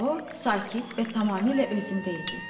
O sakit və tamamilə özündə idi.